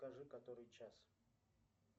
скажи который час